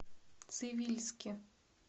цивильске